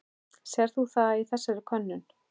Sérð þú það í þessari könnun?